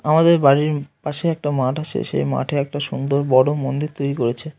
আমাদের বাড়ির পাশে একটা মাঠ আছে। সে মাঠে একটা সুন্দর বড় মন্দির তৈরি করেছে।